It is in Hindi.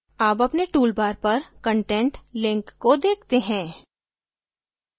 अब अपने toolbar पर content link को देखते हैं